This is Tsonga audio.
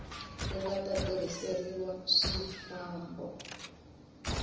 ri nga ta tirhiseriwa swifambo